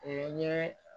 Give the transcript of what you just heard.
O ye n ye